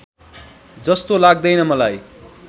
जस्तो लाग्दैन मलाई